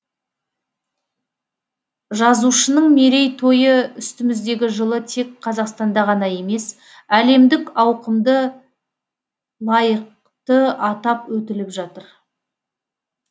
жазушының мерейтойы үстіміздегі жылы тек қазақстанда ғана емес әлемдік ауқымды лайықты атап өтіліп жатыр